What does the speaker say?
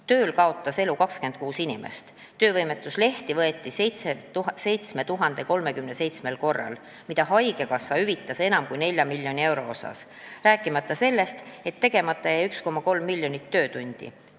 Tööl kaotas elu 26 inimest, töövõimetuslehti võeti 7037 korral, mida haigekassa hüvitas enam kui 4 miljoni euro eest, rääkimata sellest, et tegemata jäi 1,3 miljonit töötundi.